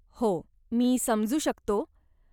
हो, मी समजू शकतो.